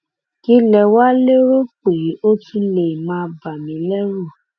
kí lè wàá lérò pé ó tún lè máa bà mí lẹrù